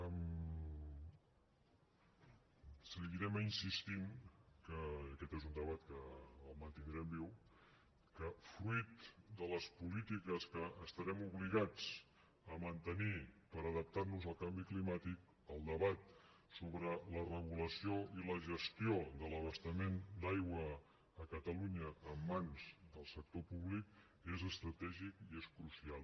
seguirem insistint que aquest és un debat que el mantindrem viu que fruit de les polítiques que estarem obligats a mantenir per adaptar nos al canvi climàtic el debat sobre la regulació i la gestió de l’abastament d’aigua a catalunya en mans del sector públic és estratègic i és crucial